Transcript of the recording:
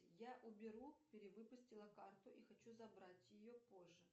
я уберу перевыпустила карту и хочу забрать ее позже